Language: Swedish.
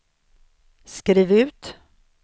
skriv ut